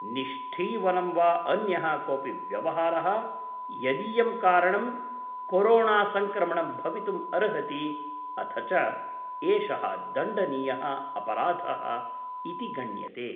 निष्ठीवनं वा अन्यः कोऽपि व्यवहारः यदीयं कारणं कोरोणासंक्रमणं भवितुम् अर्हति अथ च एषः दण्डनीयः अपराधः इति गण्यते।